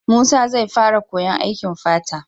Musa zai fara koyan aikin fata